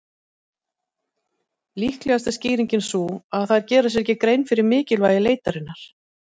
Líklegast er skýringin sú að þær gera sér ekki grein fyrir mikilvægi leitarinnar.